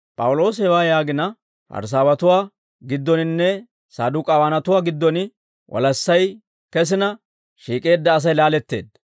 P'awuloosi hewaa yaagina, Parisaawatuwaa giddoninne Saduk'aawanatuwaa giddon walassay kesina, shiik'eedda Asay laaletteedda.